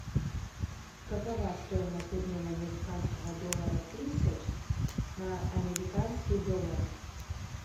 какова стоимость обмена американского доллара тысяч на американские доллары